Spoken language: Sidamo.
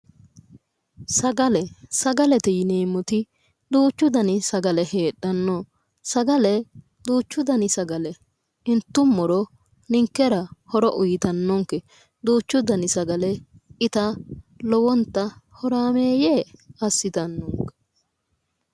Sagale sagalete yineemmoti duuchu dani sagale heedhanno sagale duuchu dani sagale intummoro ninkera horo uyitannonke duuchu dani sagale ita lowonta horaameeyye assitannonke